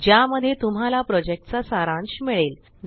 ज्यामध्ये तुम्हाला प्रॉजेक्टचा सारांश मिळेल